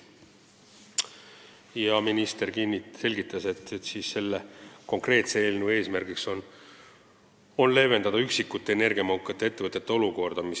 Minister selgitas, et selle eelnõu eesmärk on leevendada üksikute energiamahukate ettevõtete olukorda.